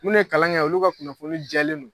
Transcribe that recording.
Minnu ye kalan kɛ olu ka kunnafoni jɛlen no